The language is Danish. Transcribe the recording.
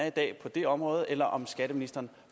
i dag på det område eller om skatteministeren